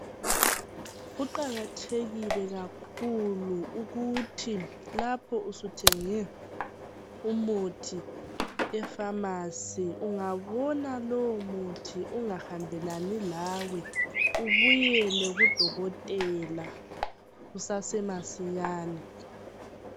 Kuqakathekile kakhulu ukuthi lapho suthenge umuthi efamasi ungabona ungahambelani lawe ubuyele kudokotela masinyane.